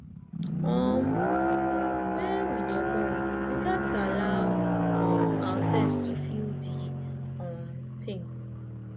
um wen we dey mourn we gats allow um ourselves to feel di um pain